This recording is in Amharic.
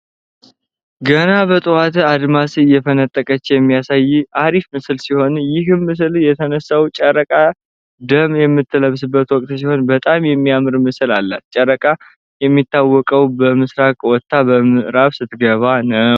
ገና በጥሁዋት አድማስ እየፈነጠቀኝ እሚያሳይ እሪፍ ምስል ሲሆን ይህም ምስል የተነሳው ጨረቃ ደም በምትለብስበት ወቅት ሲሆን በጣም እሚያምር ምስል አላት። ጨረቃ እንደሚታወቀው በምስራቅ ወታ በ ምዕራብ ትገባለች።